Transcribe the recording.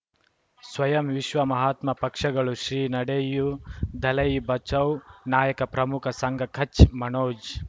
ಸ್ವಯಂ ವಿಶ್ವ ಮಹಾತ್ಮ ಪಕ್ಷಗಳು ಶ್ರೀ ನಡೆಯೂ ದಲೈ ಬಚೌ ನಾಯಕ ಪ್ರಮುಖ ಸಂಘ ಕಚ್ ಮನೋಜ್